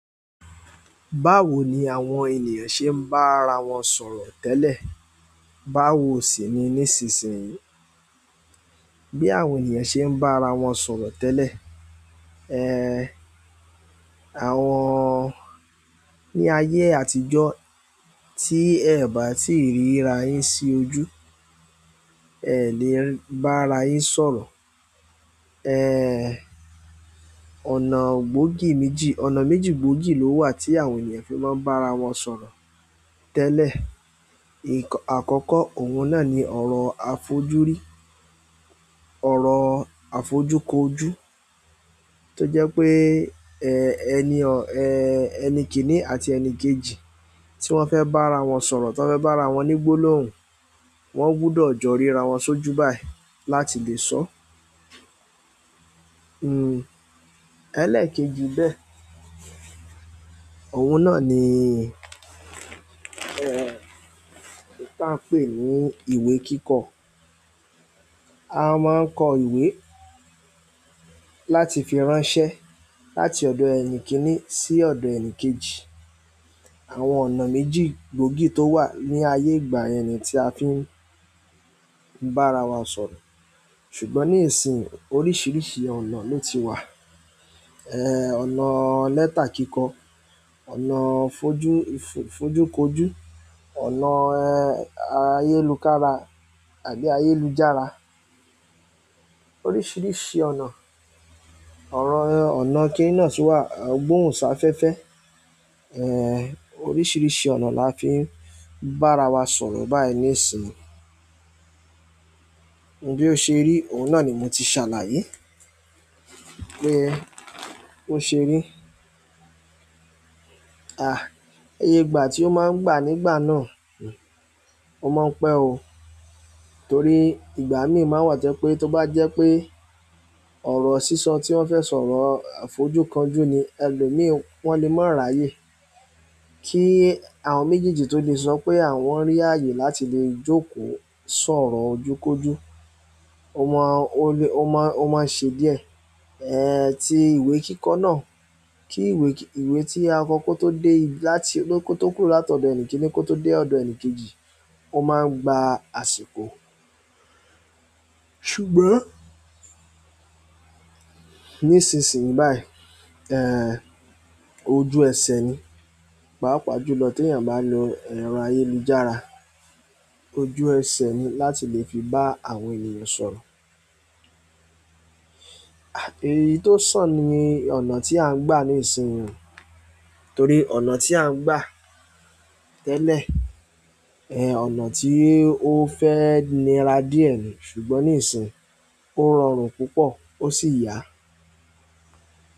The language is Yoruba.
Báwo ni àwọn ènìyàn ṣe ń bá ara wọn sọ̀rọ̀ tẹ́lẹ̀? Báwo sì ni nísinsìnyí bí àwọn ènìyàn ṣe ń bá ara wọn sọ̀rọ̀ tẹ́lẹ̀? Ehn, àwọn, ní ayé àtijọ́ tí ẹẹ̀ bá tíì ríra yín sí ojú, ẹẹ̀ le bá ara yín sọ̀rọ̀. Ehn, ọ̀nà gbóògì méjì, ọ̀nà méjì gbóògì ló wà tí àwọn ènìyàn fi máa ń bá ara wọn sọ̀rọ̀ tẹ́lẹ̀. Ǹkan-- àkọ́kọ́, òun náà ni ọ̀rọ̀ àfojúrí, ọ̀rọ̀ àfojú kojú tó jẹ́ wípé ẹni kìínní àti ẹni kejì tí wọ́n fẹ́ bára wọn sọ̀rọ̀ tí wọ́n fẹ́ bá rawọn ní gbólóhùn wọ́n gbúdọ̀ jọ rí ra wọn sójú báyìí láti lè sọọ́ hmm, ẹlẹ́ẹ̀kejì bẹ́ẹ̀, òun náà ni, ẹ̀, èyí tí à ń pè ní ìwé kíkọ. A máa ń kọ ìwé láti fi ránṣẹ́ láti ọ̀dọ̀ ẹni kìíní sí ọ̀dọ̀ ẹni kejì. Àwọn ọ̀nà méjì gbóògì tó wà ní ayé ìgbà yẹn ni tí a fi ń bá ara wa sọ̀rọ̀. Ṣùgbọ́n ní ìsinyì, oríṣiríṣi ọ̀nà ló ti wà. Eh, ọ̀nà lẹ́tà kíkọ, ọ̀nà fojú, fojúkojú, ọ̀nà, eh, ayélukára àbí ayélujára. Oríṣiríṣi ọ̀nà. Ọ̀rọ, ọ̀nà kíni náà sì wà, gbóhùn sáfẹ́fẹ́. Eh, oríṣiríṣi ọ̀nà la fi ń bá ara wa sọ̀rọ̀ báyìí níìsín. Bí ó ṣe rí, òun náà ni mo ti ṣàlàyé. Pé bó ṣe rí. À, eye ìgbà tí ó máa ń gbà nígbà náà, hmm, ó máa ń pẹ́ o. Torí ìgbà míì má n wà tó jẹ́ pé tó bá jẹ́ pé ọ̀rọ̀ sísọ tí wọ́n fẹ́ sọ ọ̀rọ̀ ọ àfojúkanjú ni, ẹlòmíì wọ́n le má ráyè. Kí àwọn méjèèjì tó lè sọ pé àwọ́n rí ààyè láti lè jókòó sọ̀rọ̀ ojúkojú. Ó máa, ó le, ó máa, ó ma ń ṣe díẹ̀. Eh, ti ìwé kíkọ́ náà, kí ìwé, ìwé tí a kọ kó tó dé, láti, kó tó kúrò látọ̀dọ̀ ẹni kìíní kó tó dé ọ̀dọ̀ ẹni kejì, ó máa ń gba àsìkò. Ṣùgbọ́n nísinsìnyí báyìí, ehn, ojú ẹsẹ̀ ni. Pàápàá jùlọ téèyàn bá lo ẹ̀rọ ayélujára, ojú ẹsẹ̀ ni láti lè fi bá àwọn ènìyàn sọ̀rọ̀. À, èyí tó sàn ni ọ̀nà tí à ń gbà ní ìsín yìí o. Torí ọ̀nà tí à ń gbà tẹ́lẹ̀, eh, ọ̀nà tí ó fẹ́ nira díẹ̀ ni. Ṣùgbọ́n ní ìsin yìí, ó rọrùn púpọ̀ ó sì yá.